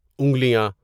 انگلیاں